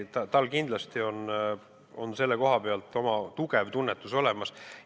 Tal on kindlasti selle koha pealt oma tugev tunnetus olemas.